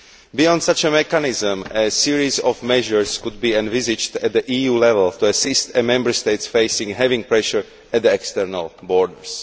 Beyond such a mechanism, a series of measures could be envisaged at EU level to assist a Member State facing heavy pressure at the external borders.